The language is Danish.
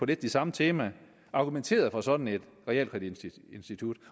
det samme tema argumenteret for sådan et realkreditinstitut